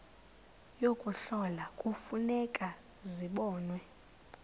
yokuhlola kufuneka zibonwe